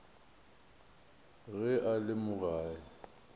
ge a le mo gae